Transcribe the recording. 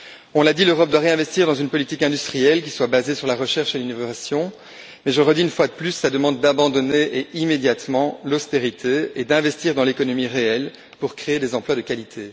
On l'a dit, l'Europe doit réinvestir dans une politique industrielle qui soit basée sur la recherche et l'innovation, mais je réitère une fois de plus la demande d'abandonner immédiatement l'austérité et d'investir dans l'économie réelle pour créer des emplois de qualité.